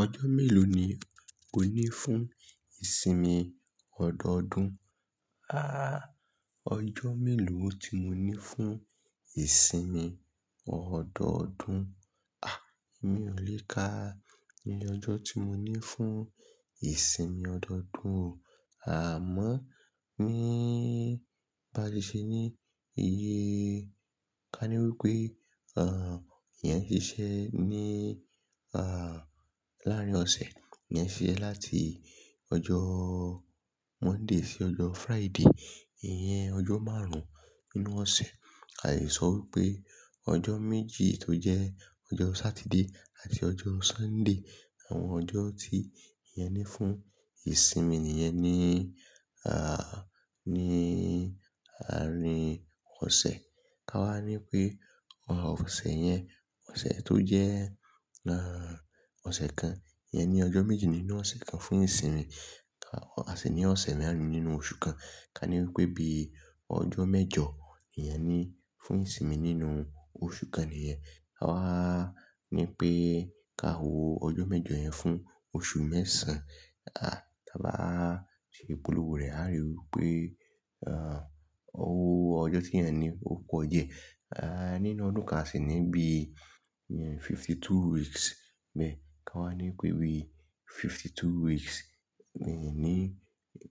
Ọjọ́ mélòó ni ó ní fún ìsinmi ọ̀dọ̀ọdún? Àá, ọjọ́ mélòó tí mo ní fún ìsinmi ọ̀dọ̀ọdún? Àh, mi ò lè ka iye ọjọ́ tí mo ní fún ìsinmi ọ̀dọ̀ọdún o. Àmọ́, níí, báṣe se ní iye, ká ní wípé, ìyẹn ṣiṣẹ́ ní, láàárín ọ̀sẹ̀, ìyẹn ṣiṣẹ́ láti ọjọ́ Monday sí ọjọ́ Friday. Ìyẹn ọjọ́ márùn-ún nínú ọ̀sẹ̀. A lè sọ wípé ọjọ́ méjì tó jẹ́ ọjọ́ Saturday àti ọjọ́ Sunday, àwọn ọjọ́ tí ìyẹn ní fún ìsinmi nìyẹn ní, ní àárín ọ̀sẹ̀. Ka wá ní pé, ọ̀sẹ̀ yẹn, ọ̀sẹ̀ tó jẹ́, ọ̀sẹ̀ kan, ìyẹn ní ọjọ́ méjì nínú ọ̀sẹ̀ kan fún ìsinmi. A sì ní ọ̀sẹ̀ márùn-ún nínú oṣù kan. Ka ní wípé bí ọjọ́ mẹ́jọ ìyẹn ni fún ìsinmi nínú oṣù kan nìyẹn. A wá ní pé ká wo ọjọ́ mẹ́jọ yẹn fún oṣù mẹ́sàn-án. Ká bá ṣe ìpolówó rẹ̀, a ríi wípé, owó ọjọ́ tí èyàn ní ó pọ̀ jẹ. Nínú ọdún kán a sì ní bí ìyẹn fifty-two weeks bee. Ka wá ní pé bí fifty-two weeks bí ní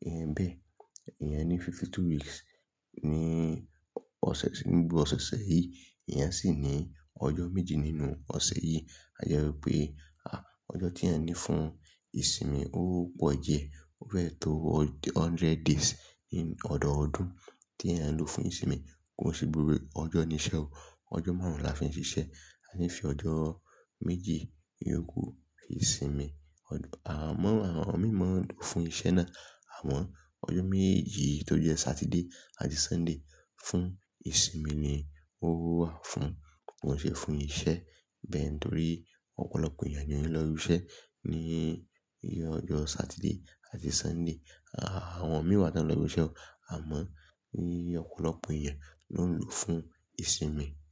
ìyẹn bíẹ̀, ìyẹn ní fifty-two weeks ní ọ̀sẹ̀ tì n bo-- ọ̀s-- oṣẹ̀ yìí, eeyan sì ní ọjọ́ méje nínú ọ̀sẹ̀ yìí. A jẹ́ wípé, àh, ọjọ́ tí ẹ̀ayan ní fún ìsinmi ó pọ̀ diẹ́. Ó fee tó hundred days nínú ọ̀dọ̀ọdún tí eeyan ń lò fún ìsinmi. Kò sì burú, ọjọ́ ní iṣẹ́ o. Ọjọ́ márùn-ún la fi ń ṣiṣẹ́. A ní fi ọjọ́ méjì yòókù yii sinmi. Amo Àwọn imí mọ́ n fún iṣẹ́ náà. Àmọ́ ọjọ́ méjì tó jẹ́ Saturday àti Sunday fún ìsinmi ni owó wà fún. Kò n ṣe fún iṣẹ́ bẹ́ẹ̀ nítorí ọ̀pọ̀lọpọ̀ èèyàn ni ó ń lọ ibi iṣẹ́ ní ìyẹn ọjọ́ Satiiday àti Sunday. Àwọn imìí wa tan ń lọ ibi iṣẹ́ o. Àmọ́, ni ọ̀pọ̀lọpọ̀ èèyàn ló ń lò fún ìsinmi.